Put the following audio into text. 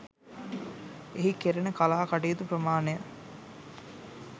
එහි කෙරෙන කලා කටයුතු ප්‍රමාණය